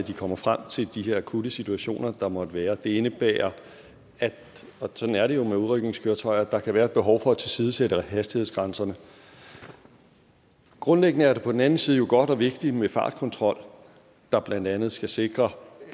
at de kommer frem til de her akutte situationer der måtte være det indebærer og sådan er det jo med udrykningskøretøjer at der kan være et behov for at tilsidesætte hastighedsgrænserne grundlæggende er det på den anden side godt og vigtigt med fartkontrol der blandt andet skal sikre